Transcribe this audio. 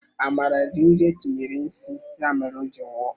Amara riri nri etinyere nsi ya mere o ji nwụọ